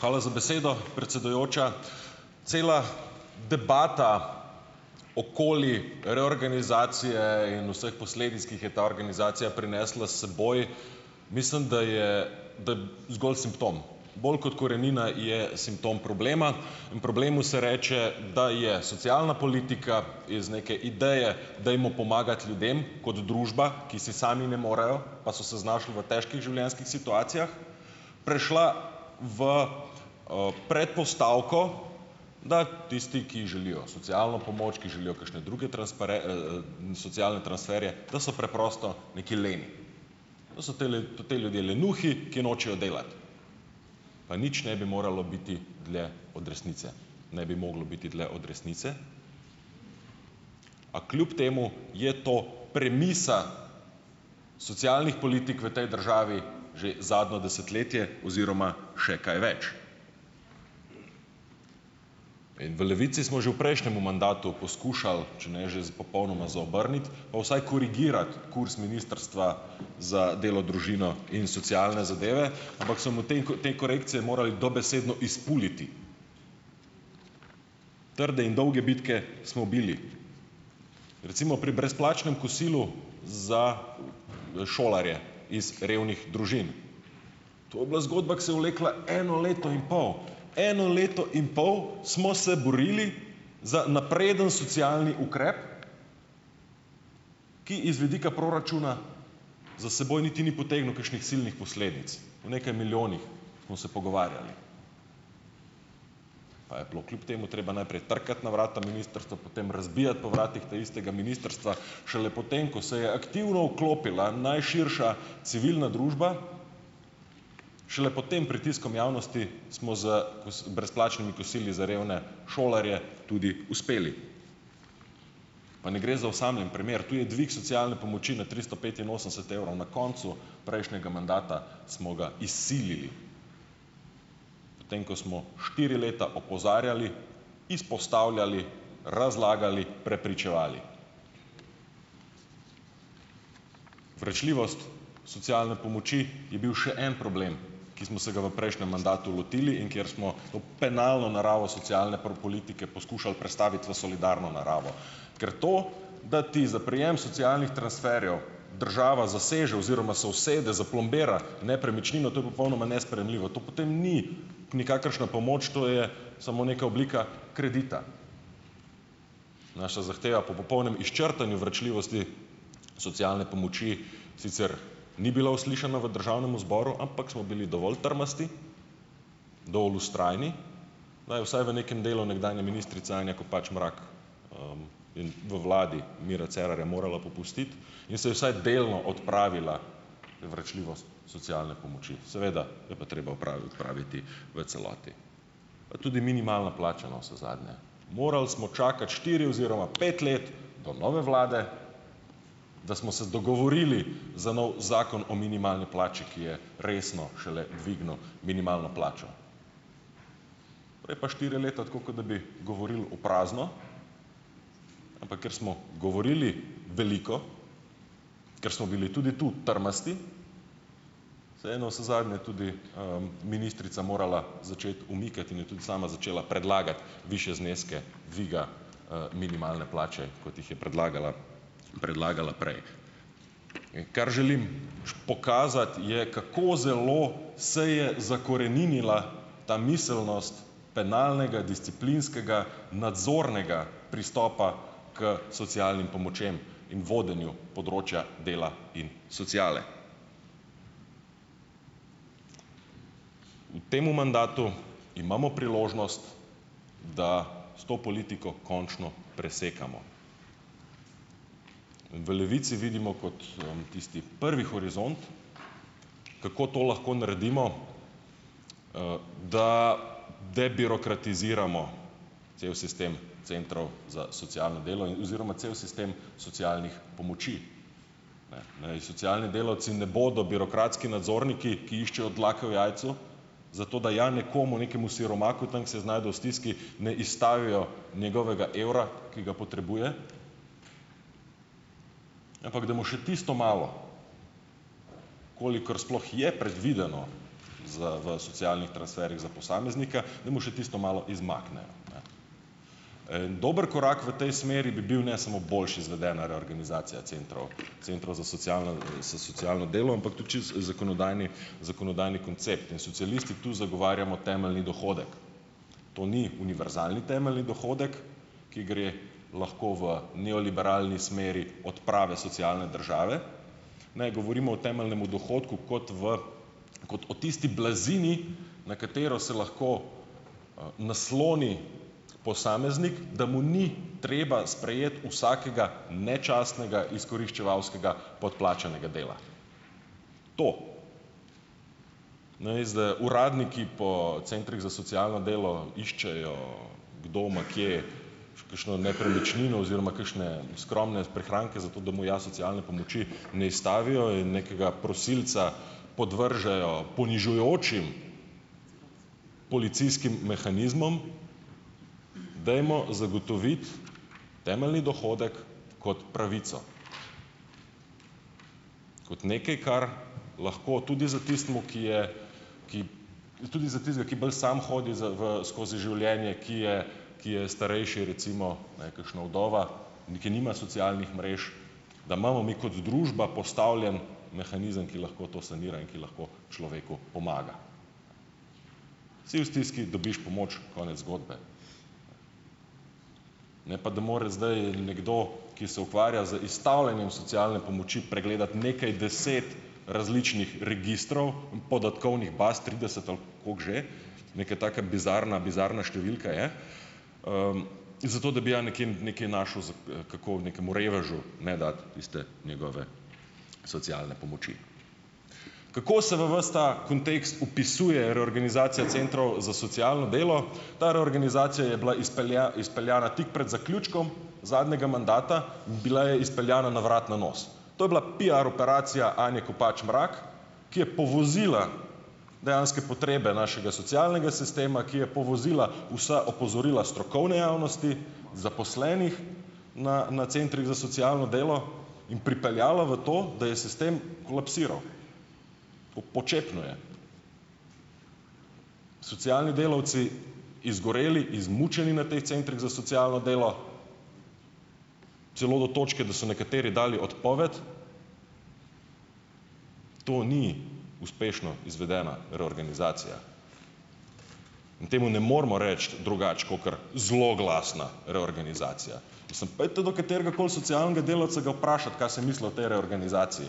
Hvala za besedo, predsedujoča. Cela debata okoli reorganizacije in vseh posledic, ki jih je ta organizacija prinesla seboj mislim, da je zgolj simptom. Bolj kot korenina je simptom problema in problemu se reče, da je socialna politika iz neke ideje "dajmo pomagati ljudem kot družba", ki si sami ne morejo pa so se znašli v težkih življenjskih situacijah, prišla v, predpostavko, da tisti, ki želijo socialno pomoč, ki želijo kakšne druge socialne, transferje, da so preprosto neki leni, da so te ti ljudje lenuhi, ki nočejo delati. Pa nič ne bi moralo biti dlje od resnice. Ne bi moglo biti dlje od resnice, a kljub temu je to premisa socialnih politik v tej državi že zadnje desetletje oziroma še kaj več. In v Levici smo že v prejšnjem mandatu poskušali, če ne že popolnoma zaobrniti pa vsaj korigirati kurz ministrstva za delo, družino, in socialne zadeve, ampak so mu tem te korekcije morali dobesedno izpuliti. Trde in dolge bitke smo bili. Recimo pri brezplačnem kosilu za, šolarje iz revnih družin. To bila zgodba, ko se vlekla eno leto in pol! Eno leto in pol smo se borili za napreden socialni ukrep, ki iz vidika proračuna za seboj niti ni potegnil kakšnih silnih posledic. O nekaj milijonih smo se pogovarjali, pa je bilo kljub temu treba najprej trkati na vrata ministrstva, potem razbijati po vratih taistega ministrstva, šele potem, ko se je aktivno vklopila najširša civilna družba, šele pod tem pritiskom javnosti smo z brezplačnimi kosili za revne šolarje tudi uspeli. Pa ne gre za osamljen primer, tudi dvig socialne pomoči na tristo petinosemdeset evrov na koncu prejšnjega mandata smo ga izsilili, potem ko smo štiri leta opozarjali, izpostavljali, razlagali, prepričevali. Vračljivost socialne pomoči je bil še en problem, ki smo se ga v prejšnjem mandatu lotili in kjer smo ob penalno naravo socialne politike poskušali prestaviti v solidarno naravo. Ker to, da ti za prejem socialnih transferjev država zaseže oziroma se usede, zaplombira nepremičnino, to je popolnoma nesprejemljivo, to potem ni nikakršna pomoč, to je samo neka oblika kredita. Naša zahteva po popolnem izčrtanju vračljivosti socialne pomoči sicer ni bila uslišana v državnemu zboru, ampak smo bili dovolj trmasti, dol vztrajni, da je vsaj v nekem delu nekdanja ministrica Anja Kopač Mrak v vladi Mira Cerarja morala popustiti in se je vsaj delno odpravila vračljivost socialne pomoči. Seveda jo pa treba odpraviti v celoti. Pa tudi minimalna plača, navsezadnje. Moral smo čakati štiri oziroma pet let do nove vlade, da smo se dogovorili za novi zakon o minimalni plači, ki je resno šele dvignil minimalno plačo. Prej pa štiri leta tako, kot da bi govorili v prazno, ampak ker smo govorili veliko, ker smo bili tudi tu trmasti, se je navsezadnje tudi, ministrica morala začeti umikati in je tudi sama začela predlagati višje zneske dviga, minimalne plače, kot jih je predlagala, predlagala prej. Kar želim pokazati, je, kako zelo se je zakoreninila ta miselnost penalnega disciplinskega nadzornega pristopa k socialnim pomočem in vodenju področja dela in sociale. V tem mandatu imamo priložnost, da s to politiko končno presekamo in v Levici vidimo kot, tisti prvi horizont, kako to lahko naredimo, da debirokratiziramo cel sistem centrov za socialno delo oziroma cel sistem socialnih pomoči. Naj socialni delavci ne bodo birokratski nadzorniki, ki iščejo dlake v jajcu, zato da je nekomu, nekemu siromaku tam, kjer se je znašel v stiski, ne izstavijo njegovega evra, ki ga potrebuje, ampak da mu še tisto malo, kolikor sploh je predvideno za v socialnih transferjih za posameznika, da mu še tisto malo izmaknejo. Dober korak v tej smeri bi bil ne samo boljše izvedena reorganizacija centrov, centrov za socialno, za socialno delo, ampak tudi čisto zakonodajni, zakonodajni koncept. In socialisti tu zagovarjamo temeljni dohodek. To ni univerzalni temeljni dohodek, ki gre lahko v neoliberalni smeri odprave socialne države. Ne, govorimo o temeljnemu dohodku kot v, kot o tisti blazini, na katero se lahko, nasloni posameznik, da mu ni treba sprejeti vsakega nečastnega, izkoriščevalskega podplačanega dela, to. Namesto da uradniki po centrih za socialno delo iščejo, kdo ima kje kakšno nepremično oziroma kakšne skromne prihranke, zato da mu ja socialne pomoči ne izstavijo in nekega prosilca podvržejo ponižujočim policijskim mehanizmom, dajmo zagotoviti temeljni dohodek kot pravico, kot nekaj, kar lahko tudi za tistim, ki je tudi za tistega, ki bolj samo hodi za v skozi življenje, ki je ki je starejši, recimo, ne, kakšna vdova, ni, ki nima socialnih mrež, da imamo mi kot družba postavljen mehanizem, ki lahko to sanira in ki lahko človeku pomaga. Si v stiski, dobiš pomoč, konec zgodbe. Ne pa da more zdaj nekdo, ki se ukvarja z izstavljanjem socialne pomoči, pregledati nekaj deset različnih registrov, podatkovnih baz trideset ali kako že, neke taka bizarna, bizarna številka je, zato da bi ja nekje nekaj našel, kako nekemu revežu ne dati tiste njegove socialne pomoči. Kako se v ves ta kontekst vpisuje reorganizacija centrov za socialno delo? Ta reorganizacija je bila izpeljana tik pred zaključkom zadnjega mandata, bila je izpeljana na vrat na nos. To je bila piar operacija Anje Kopač Mrak, ki je povozila dejanske potrebe našega socialnega sistema, ki je povozila vsa opozorila strokovne javnosti, zaposlenih na na centrih za socialno delo in pripeljalo v to, da je sistem kolapsiral, počepnil je. Socialni delavci izgoreli, izmučeni na teh centrih za socialno delo, celo do točke, da so nekateri dali odpoved. To ni uspešno izvedena reorganizacija in temu ne moremo reči drugače kakor zloglasna reorganizacija. Mislim, pojdite do katerega koli socialnega delavca ga vprašat, kaj si misli o tej reorganizaciji.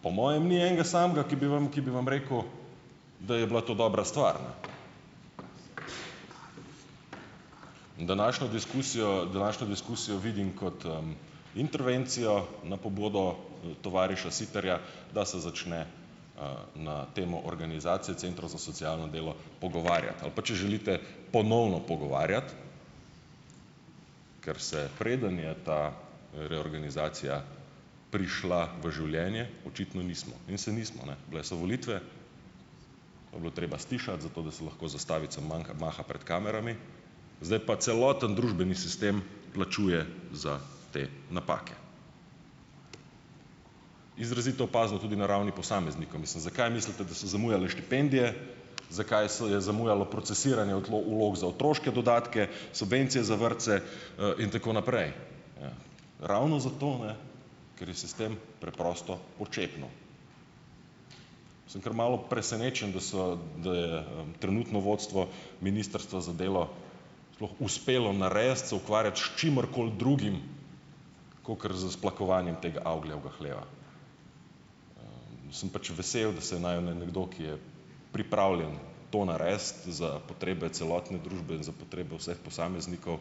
Pa po mojem ni enega samega, ki bi vam, ki bi vam rekel, da je bila to dobra stvar, ne. In današnjo diskusijo, današnjo diskusijo vidim kot intervencijo na pobudo tovariša Siterja, da se začne, na temo organizacije centrov za socialno delo pogovarjati, ali pa če želite, ponovno pogovarjati, ker se, preden je ta reorganizacija prišla v življenje, očitno nismo in se nismo, ne, bile so volitve. To bilo treba stišati, zato, da se lahko z zastavico maha pred kamerami, zdaj pa celoten družbeni sistem plačuje za te napake. Izrazito opazno tudi na ravni posameznika, mislim, zakaj mislite, da so zamujale štipendije? Zakaj se je zamujalo procesiranje vlog za otroške dodatke? Subvencije za vrtce, in tako naprej? Ravno zato ne, ker je sistem preprosto počepnil. Sem kar malo presenečen, da so, da je trenutno vodstvo ministrstva za delo sploh uspelo narediti, se ukvarjati s čimerkoli drugim kakor s splakovanjem tega avgijevega hleva. Sem pač vesel, da se je našel nekdo, ki je pripravljen to narediti za potrebe celotne družbe in za potrebe vseh posameznikov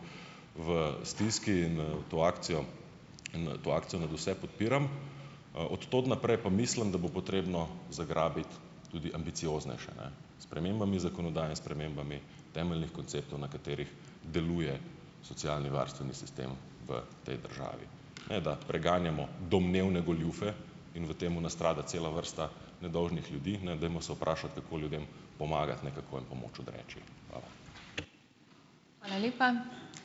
v stiski in v to akcijo, to akcijo nadvse podpiram. Od tod naprej pa mislim, da bo potrebno zagrabiti tudi ambicioznejše, ne, spremembami zakonodaje in spremembami temeljnih konceptov, na katerih deluje socialni varstveni sistem v tej državi, ne da preganjamo domnevne goljufe in v tem nastrada cela vrsta nedolžnih ljudi, ne, dajmo se vprašati, kako ljudem pomagati, ne kako jim pomoč odreči. Hvala.